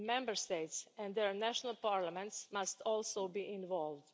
Member States and their national parliaments must also be involved.